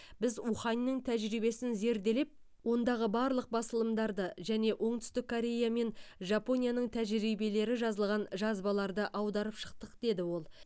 біз уханның тәжірибесін зерделеп ондағы барлық басылымдарды және оңтүстік корея мен жапонияның тәжірибелері жазылған жазбаларды аударып шықтық деді ол